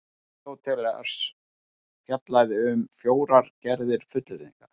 Aristóteles fjallaði því um fjórar gerðir fullyrðinga: